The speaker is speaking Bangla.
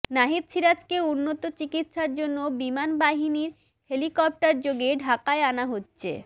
নাহিদ সিরাজকে উন্নত চিকিৎসার জন্য বিমান বাহিনীর হেলিকপ্টারযোগে ঢাকায় আনা হচ্ছে